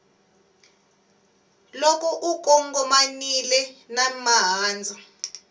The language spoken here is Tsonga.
loko u kongomanile na mahandza